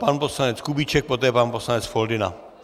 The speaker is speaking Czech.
Pan poslanec Kubíček, poté pan poslanec Foldyna.